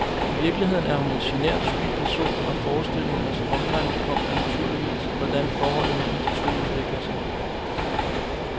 I virkeligheden er hun en genert, sky person, og forestillingens omdrejningspunkt er naturligvis, hvordan forholdet mellem de to udvikler sig.